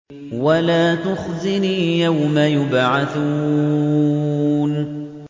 وَلَا تُخْزِنِي يَوْمَ يُبْعَثُونَ